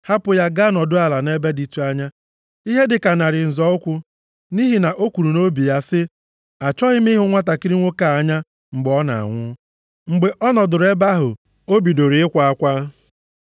Hapụ ya gaa nọdụ ala nʼebe dịtụ anya, ihe dịka narị nzọ ụkwụ, nʼihi na o kwuru nʼobi ya sị, “Achọghị m ịhụ nwantakịrị nwoke a anya mgbe ọ na-anwụ.” Mgbe ọ nọdụrụ ebe ahụ, o bidoro ịkwa akwa.